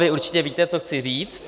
Vy určitě víte, co chci říct.